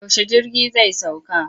Yaushe jirgi zai sauka?